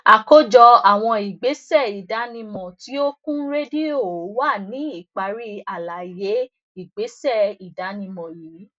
àkójọ àwọn ìgbésẹ ìdánimọ tí ó kún rédíò wà ní ìparí àlàyé ìgbésẹ ìdánimọ yìí